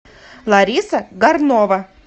лариса горнова